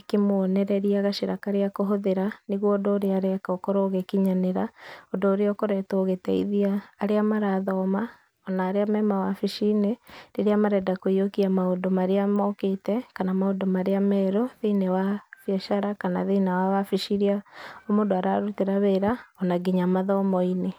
ikĩmũonereria gacĩra karĩa akũhũthĩra nĩgũo ũndũ ũrĩa areka ũkorwo ũgĩkinyanĩra ũndũ ũrĩa ũkoretwo ũgĩteithia arĩa marathoma ona arĩa me mawabici-inĩ rĩrĩa marenda kũiyũkia maũndũ marĩa mokĩte kana maũndũ marĩa merũ thĩinĩe wa biacara kana thĩĩnĩe wa wabici iria mũndũ ararutĩra wĩra ona nginya mathomo-inĩ.